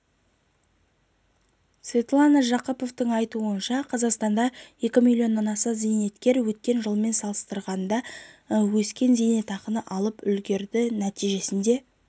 светлана жақыпованың айтуынша қазақстанда екі миллионнан аса зейнеткер өткен жылмен салыстырғанда өскен зейнетақы алып үлгерді нәтижесінде